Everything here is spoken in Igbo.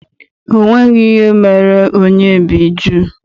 O nweghị ihe mere onyebbijụ́